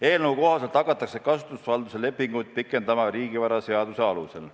Eelnõu kohaselt hakatakse kasutusvalduse lepinguid pikendama riigivaraseaduse alusel.